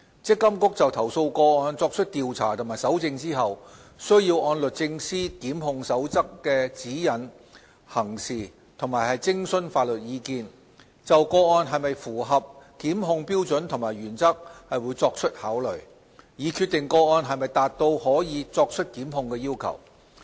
積金局就投訴個案作出調查及搜證後，須按律政司《檢控守則》的指引行事及徵詢法律意見，就個案是否符合檢控標準及原則作出考慮，以決定個案是否達至可作出檢控的要求。